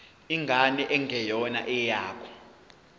ingane engeyona eyakho